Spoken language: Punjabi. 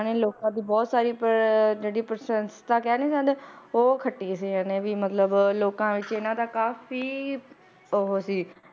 ਇਹਨਾਂ ਨੇ ਲੋਕਾਂ ਦੀ ਬਹੁਤ ਸਾਰੀ ਪ~ ਜਿਹੜੀ ਪ੍ਰਸੰਸਤਾ ਕਹਿ ਨੀ ਦਿੰਦੇ, ਉਹ ਖੱਟੀ ਸੀ ਇਹਨੇ ਵੀ ਮਤਲਬ ਲੋਕਾਂ ਵਿੱਚ ਇਹਨਾਂ ਦਾ ਕਾਫ਼ੀ ਉਹ ਸੀ